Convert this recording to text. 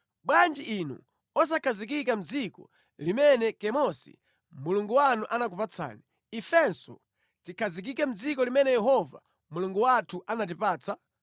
Bwanji inu osakhazikika mʼdziko limene Kemosi mulungu wanu anakupatsani, ifenso tikhazikike mʼdziko limene Yehova Mulungu wathu anatipatsa?